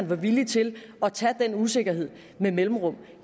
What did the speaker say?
var villig til at tage den usikkerhed med mellemrum